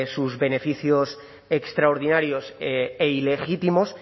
sus beneficios extraordinarios e ilegítimos